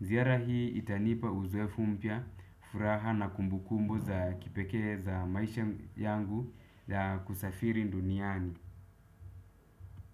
Ziara hii itanipa uzoefu mpya, furaha na kumbukumbu za kipeke za maisha yangu ya kusafiri duniani.